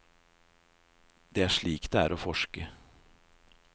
Det er slik det er å forske.